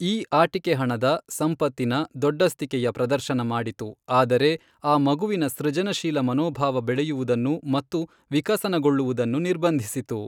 ಈ ಆಟಿಕೆ ಹಣದ, ಸಂಪತ್ತಿನ, ದೊಡ್ಡಸ್ತಿಕೆಯ ಪ್ರದರ್ಶನ ಮಾಡಿತು ಆದರೆ, ಆ ಮಗುವಿನ ಸೃಜನಶೀಲ ಮನೋಭಾವ ಬೆಳೆಯುವುದನ್ನು ಮತ್ತು ವಿಕಸನಗೊಳ್ಳುವುದನ್ನು ನಿರ್ಬಂಧಿಸಿತು.